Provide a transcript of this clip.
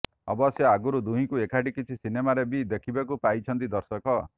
ଅବଶ୍ୟ ଆଗରୁ ଦୁହିଁଙ୍କୁ ଏକାଠି କିଛି ସିନେମାରେ ବି ଦେଖିବାକୁ ପାଇଛନ୍ତି ଦର୍ଶକ